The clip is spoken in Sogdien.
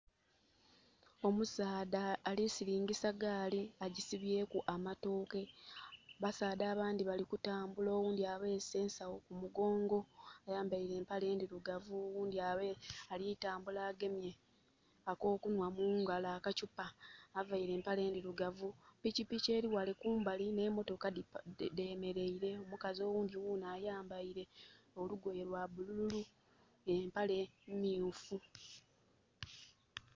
Omusaadha alisilingisa ggali agi sibyeku amatooke. Basaadha abandhi bali kutambula oghundhi abese ensagho ku mugongo, ayambaire empale endhirugavu. Oghundhi alitambula agemye akokunhwa mungalo aka kyupa, avaire empale ndhirugavu. Pikipiki eri ghale kumbali ne motoka dhemereire. Omukazi oghundhi ghunho ayambeire olugoye lwa bululu empale myufu.